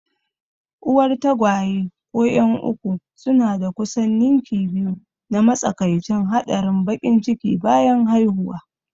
Uwar tagwaye ko 'yan uku suna da kusan ninki biyu na matsakaicin haɗarin baƙin ciki bayan haihuwa.